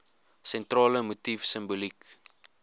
sentrale motief simboliek